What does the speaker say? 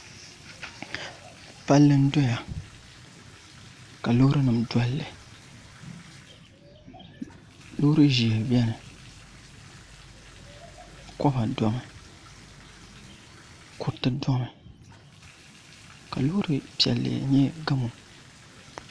Palli n doya ka loori nim dolli loori ʒiɛ biɛni koba domi kuriti domi ka loori piɛlli nyɛ gamo